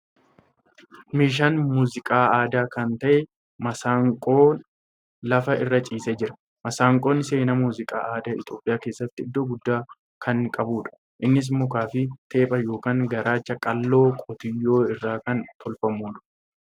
Meeshaan muuziqaa aadaa kan ta'e Masanqoon lafa irra ciisee jira. Masanqoon seenaa muuziqaa aada Itiyoophiyaa keessatti iddoo guddaa kan qabuudha. Innis mukaa fi teepha yookan garaacha qallaa qotiyyoo irraa kan tolfamuudha.